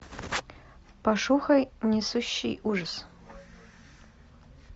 пошукай несущий ужас